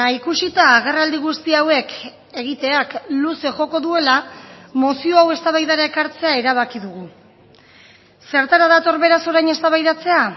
ikusita agerraldi guzti hauek egiteak luze joko duela mozio hau eztabaidara ekartzea erabaki dugu zertara dator beraz orain eztabaidatzea